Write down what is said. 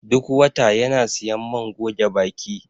Duk wata yana siyan man goge baki